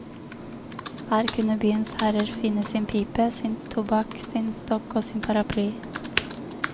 Her kunne byens herrer finne sin pipe, sin tobakk, sin stokk og sin paraply.